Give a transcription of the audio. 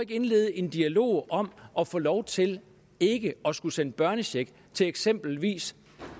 indlede en dialog om at få lov til ikke at skulle sende børnecheck til eksempelvis